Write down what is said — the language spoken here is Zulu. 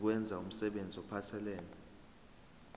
nokwenza umsebenzi ophathelene